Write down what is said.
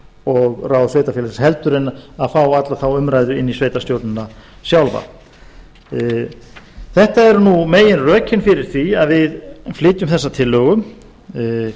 og ráð sveitarfélags heldur en fá alla þá umræðu inn í sveitarstjórnin sjálfa þetta eru meginrökin fyrir því að við flytjum þessa tillögu við